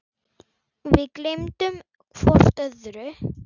Við gleymum hvort öðru.